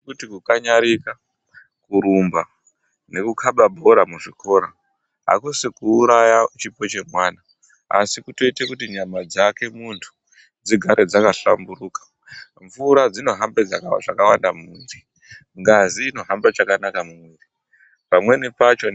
Kuti kukanyarika, kurumba nekukaba bhora muzvikora hakusi kuuraya chipo chemwa asi kutoite kuti nyama dzake muntu dzigare dzakahlamburuka. Mvura dzinohamba zvakawanda mumwiri, ngazi inohambe chakanaka mumwiri. Pamweni pacho...